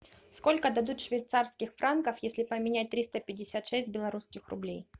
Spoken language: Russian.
сколько дадут швейцарских франков если поменять триста пятьдесят шесть белорусских рублей